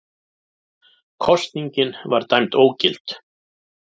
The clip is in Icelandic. Kosningin var dæmd ógild